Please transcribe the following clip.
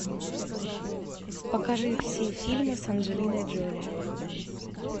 покажи все фильмы с анджелиной джоли